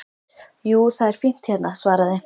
Jú, það er fínt hérna svaraði